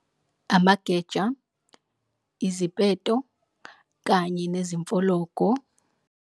Amageja, izipeto kanye nezimfologo.